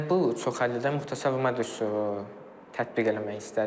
Mən bu çoxhəllidə müxtəsər vurma düsturu tətbiq eləmək istədim.